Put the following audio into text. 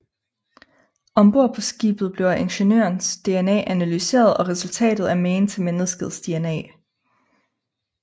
Ombord på skibet bliver Ingeniørens DNA analyseret og resultatet er magen til menneskets DNA